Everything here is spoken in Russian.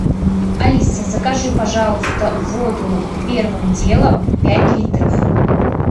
алиса закажи пожалуйста воду первым делом пять литров